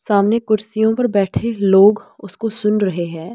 सामने कुर्सियों पर बैठे लोग उसको सुन रहे हैं।